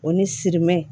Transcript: O ni sime